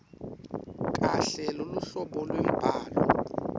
kahle luhlobo lwembhalo